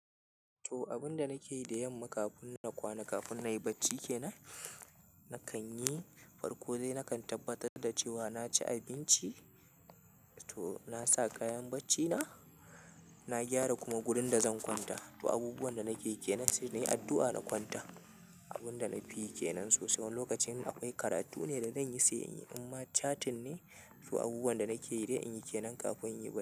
To abun da nake yi da yamma kafin na kwana, kafin nayi bacci kenan, nakan yi farko dai nakan tabbatar da cewa na ci abinci. To na sa kayan baccina, na gyara kuma gurin da zan kwanta. To abubuwan da nakeyi kenan sai nayi addu'a na kwanta. Abun da na fi yi kenan so sai wani in lokacin akwai karatu ne da zanyi sai in yi. Amma catin ne, to abubuwan da nake yi dai in yi kenan kafin in yi bacci.